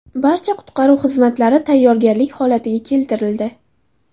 Barcha qutqaruv xizmatlari tayyorgarlik holatiga keltirildi.